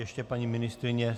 Ještě paní ministryně.